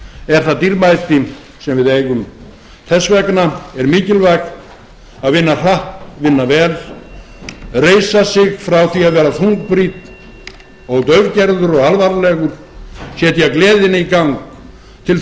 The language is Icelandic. er það dýrmæti sem við eigum þess vegna er mikilvægt að vinna hratt vinna vel reisa sig frá því að vera þungbrýnn og daufgerður og alvarlegur setja gleðina í gang til þess að